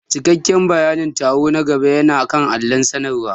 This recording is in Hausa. Cikakken bayanin taro na gaba yana kan allon sanarwa.